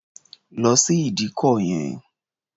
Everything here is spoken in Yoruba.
Lọ sí ìdíkọ̀ yẹn!